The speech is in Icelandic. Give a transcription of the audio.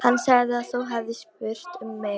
Hann sagði að þú hefðir spurt um mig.